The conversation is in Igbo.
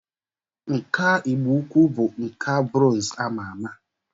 Nkà igbo-ukwu bụ nkà brọnz ama ama